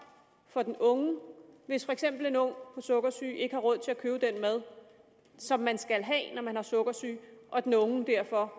for den unge hvis for eksempel en ung med sukkersyge ikke har råd til at købe den mad som man skal have når man har sukkersyge og den unge derfor